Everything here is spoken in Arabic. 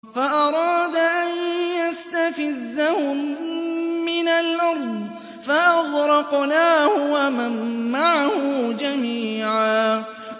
فَأَرَادَ أَن يَسْتَفِزَّهُم مِّنَ الْأَرْضِ فَأَغْرَقْنَاهُ وَمَن مَّعَهُ جَمِيعًا